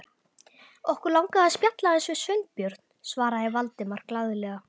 Okkur langaði að spjalla aðeins við Sveinbjörn- svaraði Valdimar glaðlega.